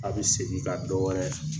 A be segin ka dɔ wɛrɛ